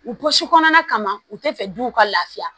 U pɔsi kɔnɔna kama u tɛ fɛ duw ka lafiya